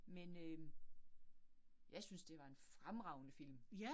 Men øh jeg synes, det var en fremragende film